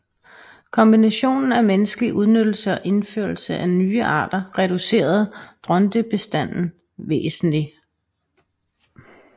Kombinationen af menneskelig udnyttelse og indførsel af nye arter reducerede drontebestanden væsentligt